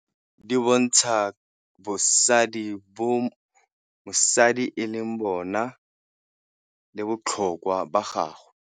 Di bontsha bosadi bo mosadi e leng bona, le botlhokwa ba gagwe.